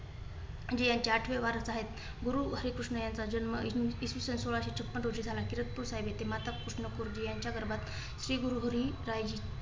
जी यांची आठवे वारस आहे. गुरु हरिकृष्ण यांचा जन्म इसवीसन सोळाशे छप्पन रोजी झाला. किरातपूर साहिब येथे माता कृष्न कौरजी यांच्या गर्भात श्री गुरुसाहेबजी